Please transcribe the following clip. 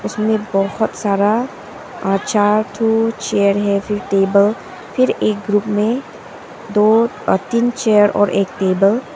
इसमें बहोत सारा आ चार ठो चेयर है फिर टेबल फिर एक ग्रुप में दो तीन चेयर और एक टेबल --